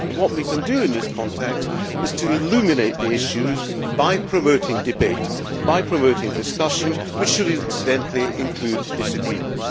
What we can do in this context is to illuminate the issues by promoting debate and discussion which should, incidentally, include disagreement.